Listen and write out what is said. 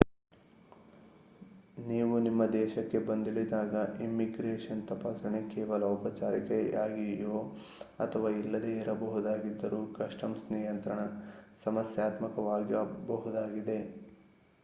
ನೀವು ನಿಮ್ಮ ದೇಶಕ್ಕೆ ಬಂದಿಳಿದಾಗ ಇಮ್ಮಿಗ್ರೇಷನ್ ತಪಾಸಣೆ ಕೇವಲ ಔಪಚಾರಿಕತೆಯಾಗಿಯೋ ಅಥವಾ ಇಲ್ಲದೇ ಇರಬಹುದಾಗಿದ್ದರೂ ಕಸ್ಟಮ್ಸ್ ನಿಯಂತ್ರಣ ಸಮಸ್ಯಾತ್ಮಕವಾಗಬಹುದಾಗಿದೆ